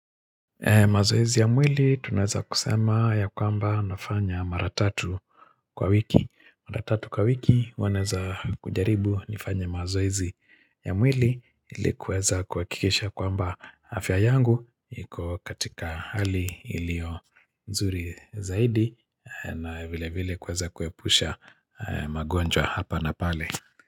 Mazoezi ya mwili tunaweza kusema ya kwamba nafanya mara tatu kwa wiki. Mara tatu kwa wiki huwa naeza kujaribu nifanya mazoezi ya mwili ili kuweza kuhakikisha kwamba afya yangu iko katika hali ilio nzuri zaidi na vile vile kuweza kuepusha magonjwa hapa na pale.